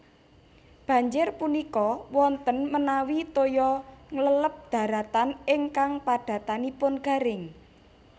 Banjir punika wonten menawi toya ngleleb daratan ingkang padatanipun garing